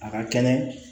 A ka kɛnɛ